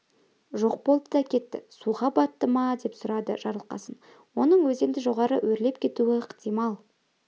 жоқ болды да кетті суға батты ма деп сұрады жарылқасын оның өзенді жоғары өрлеп кетуі ықтимал